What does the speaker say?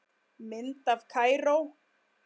Mynd af Kaíró